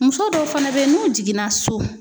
Muso dɔw fana bɛ yen n'u jiginna so